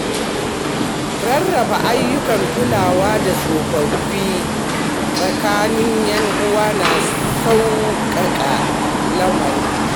Rarraba ayyukan kulawa da tsofaffi tsakanin 'yan uwa na sauƙaƙa lamarin.